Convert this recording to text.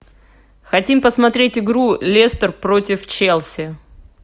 хотим посмотреть игру лестер против челси